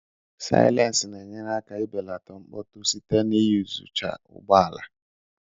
Sylense na-enyere aka belata mkpọtụ site na iyuzucha ụgbọ ala.